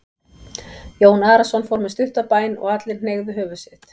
Jón Arason fór með stutta bæn og allir hneigðu höfuð sitt.